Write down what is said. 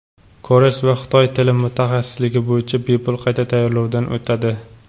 koreys va xitoy tili mutaxassisligi bo‘yicha bepul qayta tayyorlovdan o‘tadi.